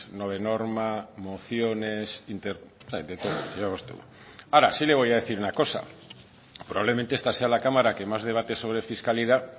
no de norma mociones interpelaciones de todo ahora sí le voy a decir una cosa probablemente esta sea la cámara que más debate sobre fiscalidad